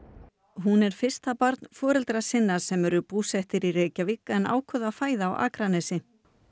hún er fyrsta barn foreldra sinna sem eru búsett í Reykjavík en ákváðu að fæða á Akranesi